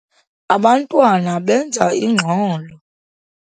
Abantwana benza ingxolo.